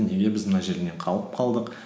неге біз мына жерінен қалып қалдық